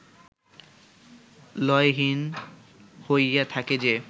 লয়হীন হইয়া থাকে যে